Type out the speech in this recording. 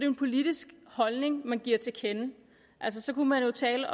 en politisk holdning man giver til kende så kunne man jo tale